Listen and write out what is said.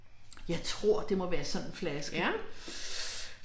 Jeg tror det må være sådan en flaske